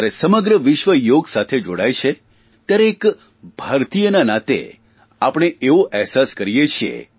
જયારે સમગ્ર વિશ્વ યોગ સાથે જોડાય છે ત્યારે એક ભારતીયના નાતે આપણે એવો અહેસાસ કરીએ છીએ